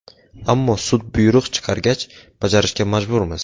Ammo sud buyruq chiqargach, bajarishga majburmiz.